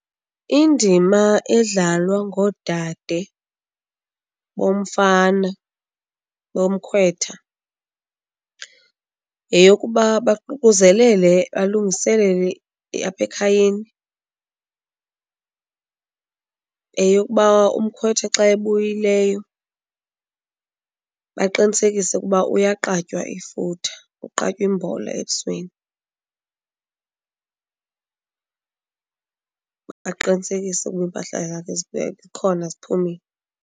Indima edlalwa ngoodade bomfana bomkhwetha yeyokuba baququzelele balungiselele apha ekhayeni, yeyokuba umkhwetha xa ebuyileyo baqinisekise ukuba uyaqatywa ifutha, uqatywa imbola ebusweni, baqinisekise ukuba impahla yakhe ikhona ziphumile.